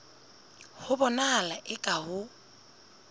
ho bonahala eka ha ho